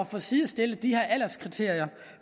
få sidestillet de her alderskriterier